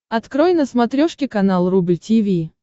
открой на смотрешке канал рубль ти ви